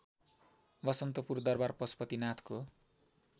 बसन्तपुर दरबार पशुपतिनाथको